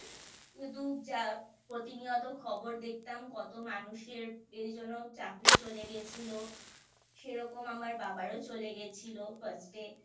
কিন্তু যা প্রতিনিয়ত খবর দেখতাম কত মানুষের এর জন্য চাকরি চলে গেছিলো সেরকম আমার বাবারও চলে গেছিলো First এ